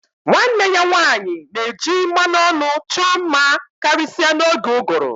Nwanne ya nwanyị na-eji mmanụ ọnụ chọọ mma karịsịa n'oge ụgụrụ